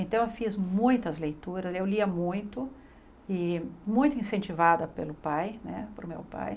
Então eu fiz muitas leituras, eu lia muito, e muito incentivada pelo pai né, pelo meu pai.